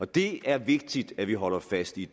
det er vigtigt at vi holder fast i